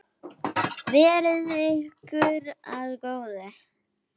Verði ykkur að góðu.